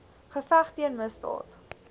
geveg teen misdaad